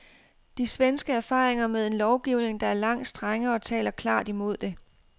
De svenske erfaringer, med en lovgivning der er langt strengere, taler klart imod det.